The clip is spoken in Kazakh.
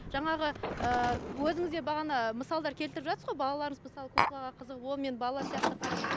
жаңағы ыыы өзіңіз де бағана мысалдар келтіріп жатсыз ғой балаларыңыз мысалға куклаға қызығып онымен бала сияқты қарап